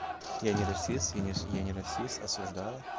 я не росист я не расист осуждаю